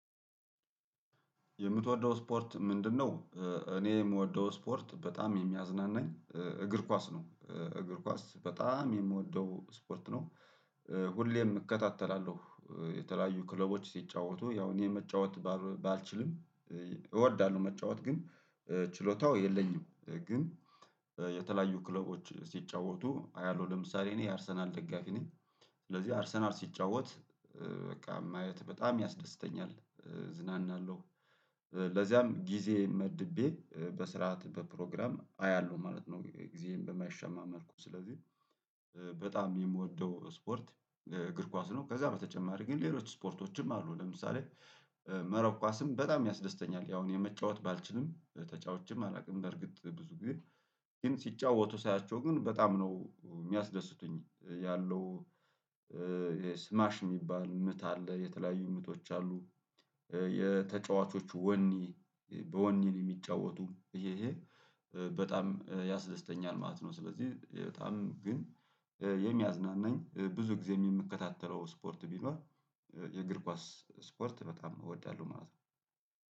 የምትወደው ስፖርት ምንድነው? እኔ የምወደው ስፖርት በጣም የሚያዝናናኝ እግር ኳስ ነው እግር ኳስ በጣም የምወደው ስፖርት ነው። ሁሌም እከታተላለሁ የተለያዩ ክለቦች ሲጫወቱ ያው እኔ መጫወት ባልወ ባልችልም። እወዳለሁ መጫወት ግን ችሎታው የለኝም። ግን የተለያዩ ክለቦች ሲጫወቱ አያለሁ ለምሳሌ እኔ የአርሰናል ደጋፊ ነኝ። ስለዚህ አርሰናል ሲጫወት በቃ ማየት በጣም ያስደስተኛል እዝናና አለሁ። ለዚያም ጊዜ መድቤ በስርዓት በፕሮግራም አያለሁ ማለት ነው። ጊዜየን በማይሻማ መልኩ ስለዚህ በጣም የምወደው ስፖርት እግር ኳስ ነው። ከዛ በተጨማሪ ግን ሌሎች ስፖርቶችም አሉ። ለምሳሌ መረብ ኳስም በጣም ያስደስተኛል። ያው እኔ መጫወት ባልችልም ተጫውቼም አላውቅም። በርግጥ ብዙ ጊዜ ግን ሲጫወቱ ሳያቸው ግን በጣም ነው የሚያስደስቱኝ ያለው። የስማች የሚባል ምት አለ የተለያዩ ምቶች አሉ። የተጫዋቾቹ ወኔ በወኔ ነው የሚጫወቱ ይሄ ይሄ በጣም ያስደስተኛል ማለት ነው። ስለዚህ በጣም ግን የሚያዝናናኝ ብዙ ጊዜም የምከታተለው ስፖርት ቢኖር የእግር ኳስ ስፖርት በጣም እወዳለሁ። ማለት ነው።